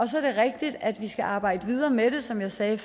så er det rigtigt at vi skal arbejde videre med det som jeg sagde